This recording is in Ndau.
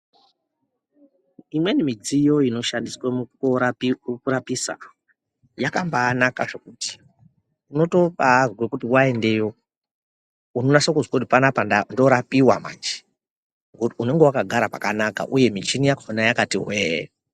Imweni midziyo inoshandiswe mukorapirwe kurapisa yakabanaka zvokuti unotobazwe kuti waendeyo unonase kuzwe kuti panapa ndorapiwa manje ngokuti unenge wakagara pakanaka uye michini yakhona yakati hweee.